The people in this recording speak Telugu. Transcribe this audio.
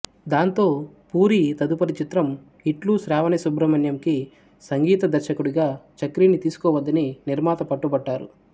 దాంతో పూరీ తదుపరి చిత్రం ఇట్లు శ్రావణి సుబ్రమణ్యంకి సంగీత దర్శకుడిగా చక్రిని తీసుకోవద్దని నిర్మాత పట్టుబట్టారు